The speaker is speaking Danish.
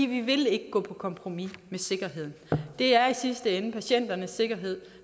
vi vil ikke gå på kompromis med sikkerheden det er i sidste ende patienternes sikkerhed